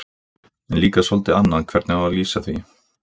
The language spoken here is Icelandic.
En líka soldið annað hvernig á að lýsa því